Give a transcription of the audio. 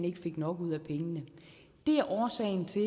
ikke fik nok ud af pengene det er årsagen til